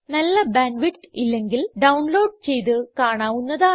നല്ല bandwidth ഇല്ലെങ്കിൽ download ചെയ്ത് കാണാവുന്നതാണ്